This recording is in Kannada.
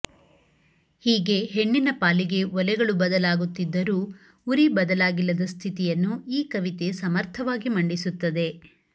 ಹೀಗೆ ಹೆಣ್ಣಿನ ಪಾಲಿಗೆ ಒಲೆಗಳು ಬದಲಾಗುತ್ತಿದ್ದರೂ ಉರಿ ಬದಲಾಗಿಲ್ಲದ ಸ್ಥಿತಿಯನ್ನು ಈ ಕವಿತೆ ಸಮರ್ಥವಾಗಿ ಮಂಡಿಸುತ್ತದೆ